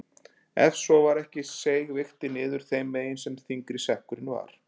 Ef svo var ekki seig vigtin niður þeim megin sem þyngri sekkurinn var.